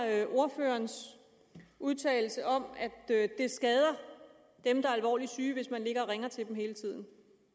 er ordførerens udtalelse om at det skader dem der er alvorligt syge hvis man ringer til dem hele tiden